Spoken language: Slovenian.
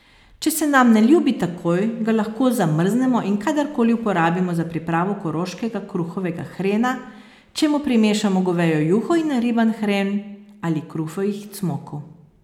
Če se nam ne ljubi takoj, ga lahko zamrznemo in kadar koli porabimo za pripravo koroškega kruhovega hrena, če mu primešamo govejo juho in nariban hren, ali kruhovih cmokov.